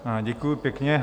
Děkuju pěkně.